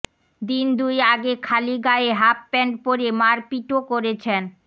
দিন দুই আগে খালি গায়ে হাফ প্যান্ট পরে মারপিটও করেছেন